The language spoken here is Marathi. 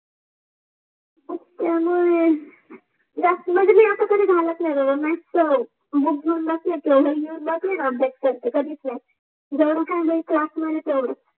त्मंयामुळे झात मंजे जे मी आत्ता गालात नाही म्याथ चा बुक घेउन बसते उप्डते करते जेवण खाणे क्लास मध्ये तेवाच